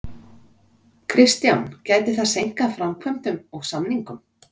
Kristján: Gæti það seinkað framkvæmdum og samningum?